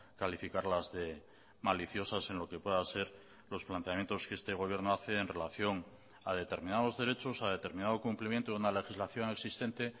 calificarlas de maliciosas en lo que pueda ser los planteamientos que este gobierno hace en relación a determinados derechos a determinado cumplimiento de una legislación existente